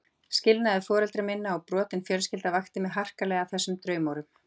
Skilnaður foreldra minna og brotin fjölskyldan vakti mig harkalega af þessum draumórum.